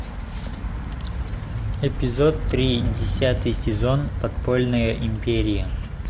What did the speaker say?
эпизод три десятый сезон подпольная империя